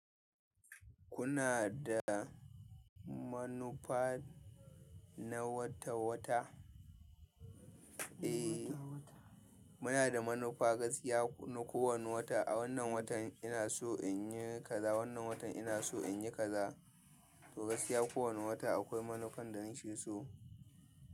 Kuna da manufa na wata-wata? Eh, muna da manufa gaskiya na kowane wata. A wannan watan ina so in yi kaza, wannan watan ina so in yi kaza. To gaskiya kowane wata akwai manufan da nake so.